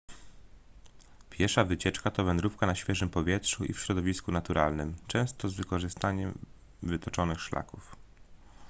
piesza wycieczka to wędrówka na świeżym powietrzu i w środowisku naturalnym często z wykorzystaniem wytyczonych szlaków